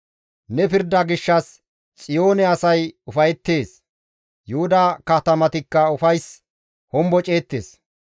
Ne pirda gishshas, Xiyoone asay ufayettees; Yuhuda katamatikka ufayssan homboceettes.